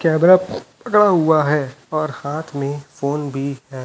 Camera पकड़ा हुआ है और हाथ में फोन भी है।